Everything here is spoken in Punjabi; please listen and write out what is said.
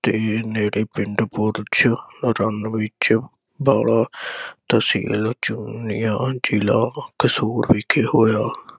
ਤੇ ਨੇੜੇ ਪਿੰਡ ਬੁਰਜ ਅਰਨ ਵਿਚ ਬਾਲਾ ਤਹਿਸੀਲ ਚੋਨੀਆ ਜਿਲਾ ਕਸੂਰ ਵਿਚ ਹੋਇਆ।